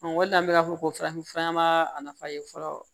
o de la an bɛ ka fɔ farafinfura ma a nafa ye fɔlɔ